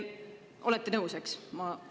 Olete nõus, eks?